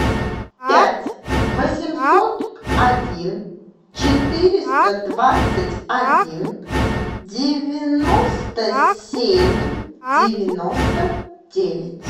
пять восемьсот один четыреста двадцать один девяносто семь девяносто девять